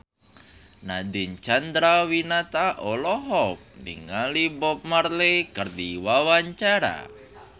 Nadine Chandrawinata olohok ningali Bob Marley keur diwawancara